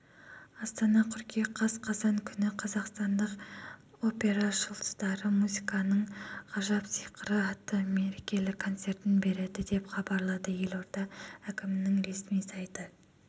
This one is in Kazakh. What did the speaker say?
астана қыркүйек қаз қазан күні қазақстандық опера жұлдыздары музыканың ғажап сиқыры атты мерекелік концертін береді деп хабарлады елорда әкімінің ресми сайты